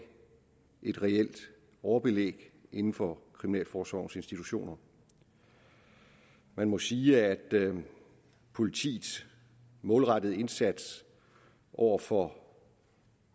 et reelt overbelæg inden for kriminalforsorgens institutioner man må sige at politiets målrettede indsats over for